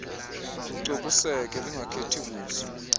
lucokiseke lungakhethi buso